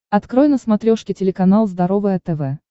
открой на смотрешке телеканал здоровое тв